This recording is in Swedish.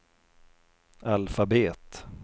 alfabet